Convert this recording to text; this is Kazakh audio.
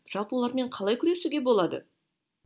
жалпы олармен қалай күресуге болады